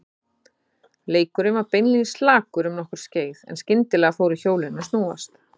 Leikurinn var beinlínis slakur um nokkurt skeið en skyndilega fóru hjólin að snúast.